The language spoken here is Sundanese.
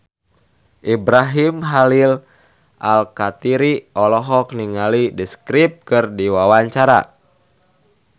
Ibrahim Khalil Alkatiri olohok ningali The Script keur diwawancara